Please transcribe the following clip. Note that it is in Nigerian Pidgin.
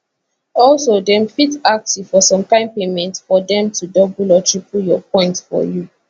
also dem fit ask you for some kain payment for dem to double or triple your points for you